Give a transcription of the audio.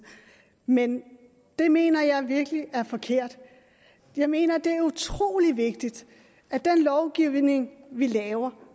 men det mener jeg virkelig er forkert jeg mener at det er utrolig vigtigt at den lovgivning vi laver